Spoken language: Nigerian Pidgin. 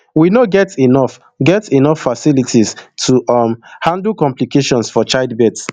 we no get enough get enough facilities to um handle complications for childbirth